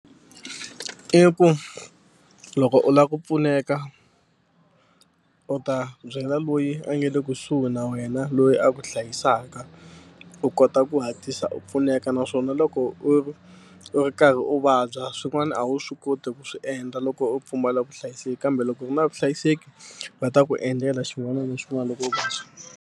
I ku loko u lava ku pfuneka u ta byela loyi a nga le kusuhi na wena loyi a ku hlayisaka u kota ku hatlisa u pfuneka naswona loko u ri u ri karhi u vabya swin'wana a wu swi koti ku swi endla loko u pfumala vuhlayiseki kambe loko u ri na vuhlayiseki va ta ku endlela xin'wana na xin'wana loko u vabya.